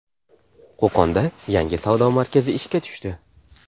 Qo‘qonda yangi savdo markazi ishga tushdi.